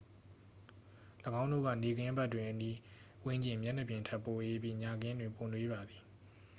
"""၎င်းတို့က နေ့ခင်းဘက်တွင် အနီးဝန်းကျင် မျက်နှာပြင်ထက် ပိုအေးပြီး ညခင်းတွင် ပိုနွေးပါသည်။